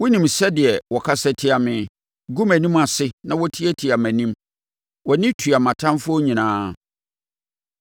Wonim sɛdeɛ wɔkasa tia me, gu mʼanim ase na wɔtiatia mʼanim; wʼani tua mʼatamfoɔ nyinaa.